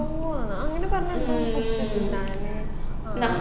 അങ്ങനെപറഞ്ഞേ എന്തോ കുടിച്ചിട്ടുണ്ടായിന്